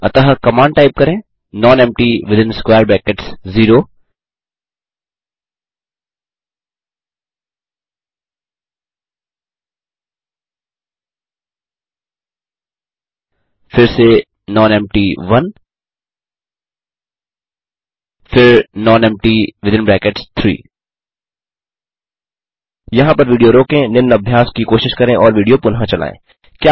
अतः command type करें non empty within 0 फिर से nonempty1 फिर nonempty3 यहाँ पर विडियो रोकें निम्न अभ्यास की कोशिश करें और विडियो पुनः चलायें